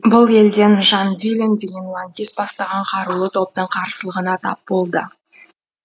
бұл елден жан вилен деген лаңкес бастаған қарулы топтың қарсылығына тап болды